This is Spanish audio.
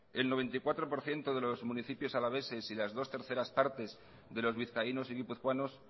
el noventa y cuatro por ciento de los municipios alaveses y las dos terceras partes de los vizcaínos y guipuzcoanos